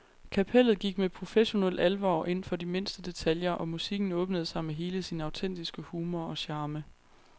Kapellet gik med professionel alvor ind for de mindste detaljer, og musikken åbnede sig med hele sin autentiske humor og charme.